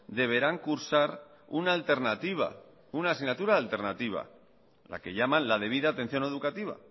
deberán cursar una alternativa una asignatura alternativa la que llaman la debida atención educativa